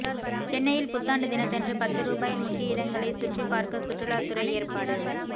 சென்னையில் புத்தாண்டு தினத்தன்று பத்து ரூபாயில் முக்கிய இடங்களை சுற்றிப் பார்க்க சுற்றுலா துறை ஏற்பாடு